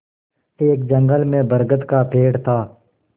एक जंगल में बरगद का पेड़ था